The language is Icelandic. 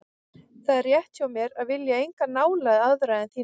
Það er rétt hjá mér að vilja enga nálægð aðra en þína.